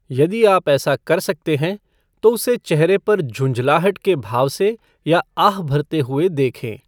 यदि आप ऐसा कर सकते हैं, तो उसे चेहरे पर झुंझलाहट के भाव से या आह भरते हुए देखें।